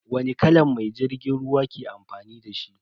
Wani kalan mai jirgin ruwa ke amfani dashi?